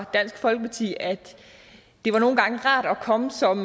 dansk folkeparti at det nogle gange var rart at komme som